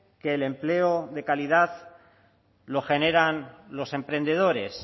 que el empleo de calidad lo generan los emprendedores